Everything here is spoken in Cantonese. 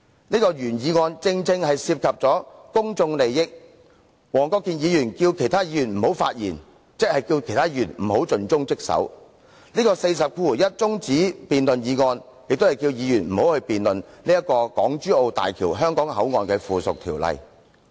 此項原議案正是涉及公眾利益，黃議員要求其他議員不要發言，即要求大家不要盡忠職守，而他根據《議事規則》第401條提出中止待續的議案，亦是要求議員不要辯論有關港珠澳大橋香港口岸的附屬法例。